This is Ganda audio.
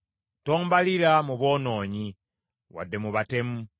Tombalira mu boonoonyi, wadde mu batemu,